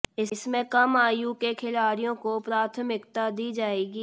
इसमें कम आयु के खिलाडि़यों को प्राथमिकता दी जाएगी